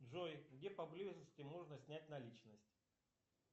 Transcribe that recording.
джой где поблизости можно снять наличность